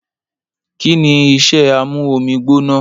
Kìní ìsẹ àmú òmí gbónà?